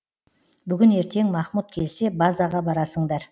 бүгін ертең махмұт келсе базаға барасыңдар